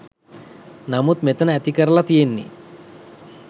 නමුත් මෙතන ඇතිකරල තියෙන්නෙ